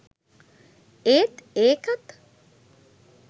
ඒත් ඒකත්